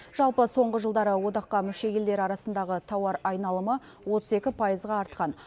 жалпы соңғы жылдары одаққа мүше елдер арасындағы тауар айналымы отыз екі пайызға артқан